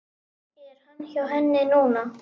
Er hann hjá henni núna?